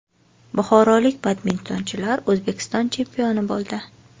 Buxorolik badmintonchilar O‘zbekiston chempioni bo‘ldi.